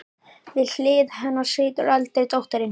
Við hlið hennar situr eldri dóttirin, Klara.